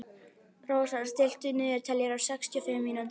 Rósar, stilltu niðurteljara á sextíu og fimm mínútur.